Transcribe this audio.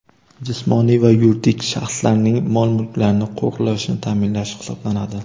jismoniy va yuridik shaxslarning mol-mulklarini qo‘riqlashni taʼminlash hisoblanadi.